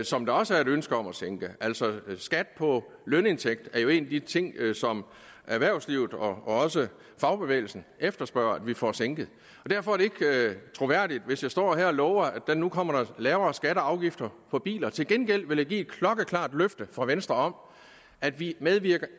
som der også er et ønske om at sænke altså skat på lønindtægt er jo en af de ting som erhvervslivet og også fagbevægelsen efterspørger at vi får sænket derfor er det ikke troværdigt hvis jeg står her og lover at der nu kommer lavere skatter og afgifter på biler til gengæld vil jeg give et klokkeklart løfte fra venstre om at vi ikke medvirker